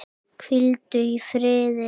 Hvíldu í friði vinur.